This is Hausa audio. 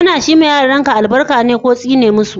Kana shi ma yaranka albarka ne ko tsine masu?